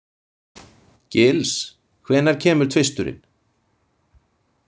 Gils, hvenær kemur tvisturinn?